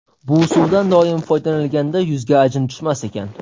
Bu suvdan doim foydalanilganda yuzga ajin tushmas ekan.